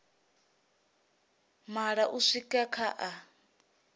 maṋa u swika kha a